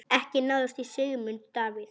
Ekki náðist í Sigmund Davíð.